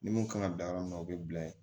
Ni mun kan ka dan yɔrɔ min na o bɛ bila yen